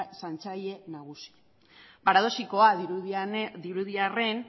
zaintzaile nagusia paradoxikoa dirudi arren